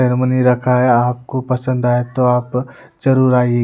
रखा है आपको पसंद आए तो आप जरूर आइए।